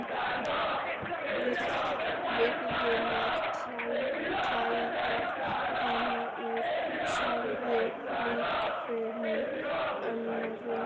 Við verðum að klæða hana úr, sagði leikfimikennarinn.